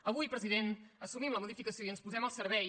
avui president assumim la modificació i ens posem al servei